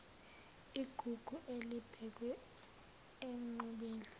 igugu elibekwe enqubeni